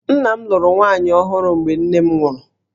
Nna m lụrụ nwaanyị ọhụrụ mgbe nne m nwụrụ